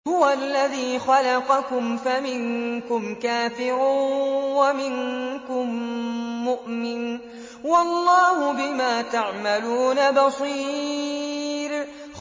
هُوَ الَّذِي خَلَقَكُمْ فَمِنكُمْ كَافِرٌ وَمِنكُم مُّؤْمِنٌ ۚ وَاللَّهُ بِمَا تَعْمَلُونَ بَصِيرٌ